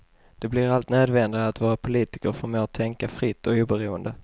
Det blir allt nödvändigare att våra politiker förmår tänka fritt och oberoende.